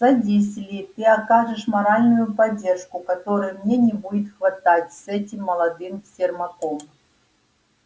садись ли ты окажешь моральную поддержку которой мне не будет хватать с этим молодым сермаком